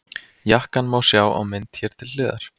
Jakkann má sjá á mynd hér til hliðar.